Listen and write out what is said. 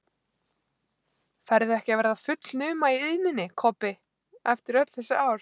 Ferðu ekki að verða fullnuma í iðninni, Kobbi, eftir öll þessi ár?